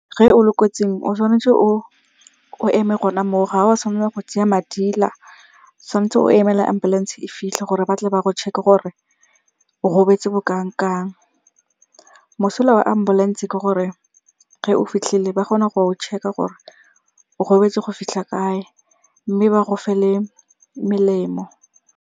Ge o le kotsing, o tshwanetse o eme go ne mo, ga wa tshwanna go tsaya madila. Tshwan'tse o emele ambulance-e e fitlhe gore batle ba go check-e gore o gobetse bokang-kang. Mosola wa ambulance-e ke gore ge o fitlhile ba kgona go check-a gore o gobetse go fitlha kae, mme ba go fe le melemo.